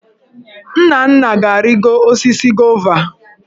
Nnanna ga-arịgo osisi gova.